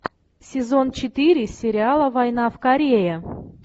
сезон четыре сериала война в корее